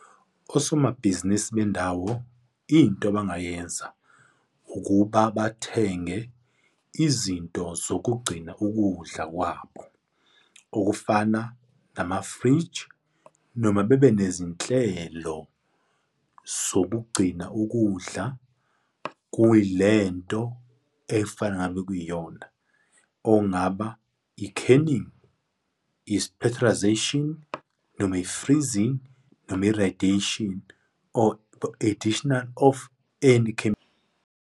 Osomabhizinisi bendawo, into abangayenza ukuba bathenge izinto zokugcina ukudla kwabo, okufana namafriji, noma bebe nezinhlelo zokugcina ukudla kuyilento efana ngabe kuyiyona, ongaba, i-canning, i-pasteurisation, noma i-freezing, noma i-radiation or additional of any .